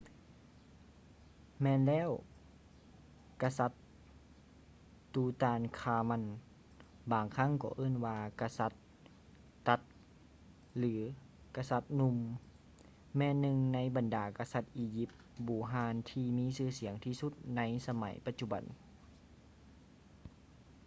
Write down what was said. ແມ່ນແລ້ວ ກະສັດ tutankhamun ບາງຄັ້ງກໍເອີ້ນວ່າ ກະສັດ tut ຫຼື ກະສັດໜຸ່ມ ແມ່ນໜຶ່ງໃນບັນດາກະສັດອີຢິບບູຮານທີ່ມີຊື່ສຽງທີ່ສຸດໃນສະໄໝປະຈຸບັນ